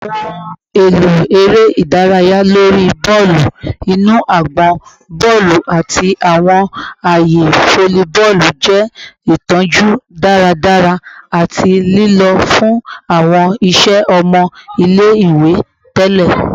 Awọn ohun elo ere idaraya lori bọọlu inu agbọn, bọọlu, ati awọn aaye folliboolu jẹ itọju daradara ati lilo fun awọn iṣẹ ọmọ ile-iwe tẹlẹ